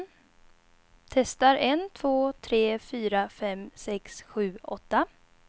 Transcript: Testar en två tre fyra fem sex sju åtta.